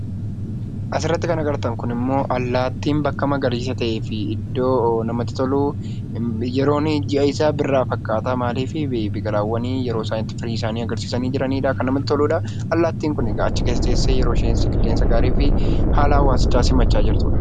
As irratti kan agartaan ammoo Allatin bakka Magarisaa ta'eefi iddoo namatti tolu, yeroon ji'aa isaa Biraa fakkata. Maali? Biqilaawwaan yeroo isaan itti firii isaani agarsisani jiranidha. Kan namatti toluudha. Allattin kun achii keessa tessee yeroo isheen qilleensaa gaariifi haala hawwasichaa simacha jirtuudha.